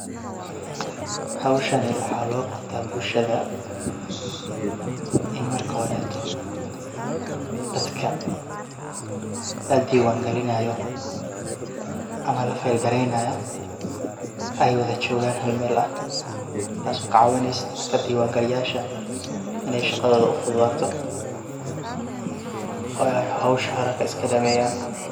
Howshani waxa loqabta bulshada in marka horeto dadka ladiwan galinayo ama lafilegareynayo ey wadajogan hal mel ah taso kacawineyso dadka diwan galiya yasha ah iney shaqadoda ufududato oo ey howsha haraka iskadameyan.